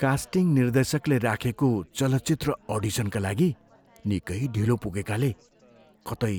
casting निर्देशकले राखेको चलचित्र अडिसनका लागि निकै ढिलो पुगेकाले कतै